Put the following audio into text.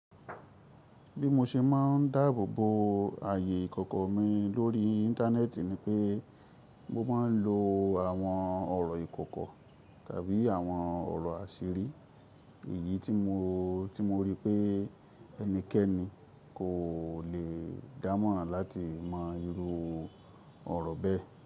Bí mo ṣe máa ń dáàbò bo ààyè ìkọ̀kọ̀ mi lórí Íńtánẹ́ẹ̀tì ni pé mo máa ń lo àwọn ọ̀rọ̀ ìkọ̀kọ̀ tàbí àwọn ọ̀rọ̀ àṣírí èyí tí mo rí pé ẹnikẹ́ni kò lè dámọ̀ràn láti mọ irú ọ̀rọ̀ bẹ́ẹ̀